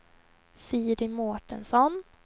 Siri Mårtensson